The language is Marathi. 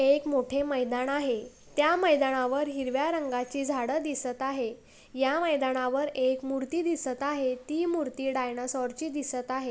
एक मोठे मैदान आहे त्या मैदानावर हिरव्या रंगाची झाड दिसत आहे या मैदानावर एक मूर्ति दिसत आहे ती मूर्ति डायनोसर ची दिसत आहे.